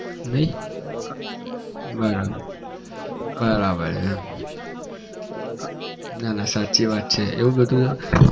નહિ બરાબર બરાબર છે એમ ના ના સાચી વાત છે એવું બધું